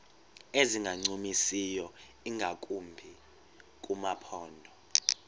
ezingancumisiyo ingakumbi kumaphondo